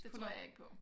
Det tror jeg ikke på